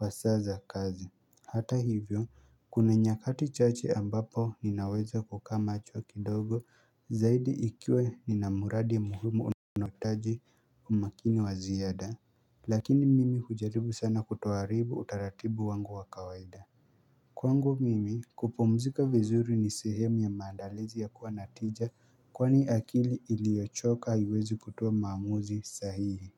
wa saa za kazi Hata hivyo kuna nyakati chache ambapo ninaweza kukaa macho kidogo zaidi ikiwa nina muradi ya muhimu unaohitaji umaakini wa ziada Lakini mimi hujaribu sana kutoharibu utaratibu wangu wa kawaida Kwangu mimi kupumzika vizuri ni sehemu ya maandalizi ya kuwa na tija kwani akili iliyochoka haiwezi kutoa maamuzi sahihi.